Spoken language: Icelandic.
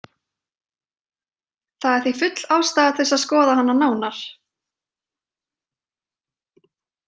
Það er því full ástæða til að skoða hana nánar.